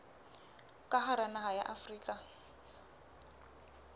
ka hara naha ya afrika